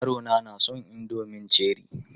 Yarona na son indomin Cherie.